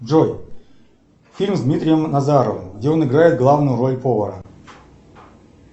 джой фильм с дмитрием назаровым где он играет главную роль повара